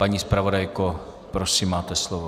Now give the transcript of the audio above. Paní zpravodajko, prosím, máte slovo.